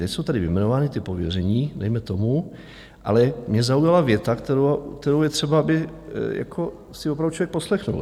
Teď jsou tady vyjmenovaná ta pověření, dejme tomu, ale mě zaujala věta, kterou je třeba, aby si opravdu člověk poslechl.